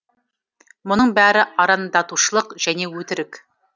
мұның бәрі арандатушылық және өтірік